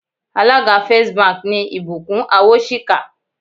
Alága First Bank ni Ìbùkún Awóṣìkà